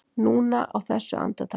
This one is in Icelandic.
Núna, á þessu andartaki.